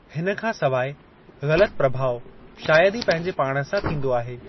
हिन खां सवाइ, ग़लतु प्रभाउ शायद ई पंहिंजे पाण सां थींदो आहे।